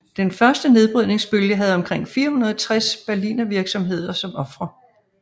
Den første nedbrydningsbølge havde omkring 460 Berlinervirksomheder som ofre